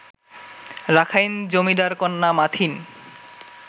Rakhine জমিদারকন্যা মাথিন